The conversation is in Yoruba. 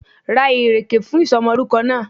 Ra ìrèkè fún ìsomolórúko náà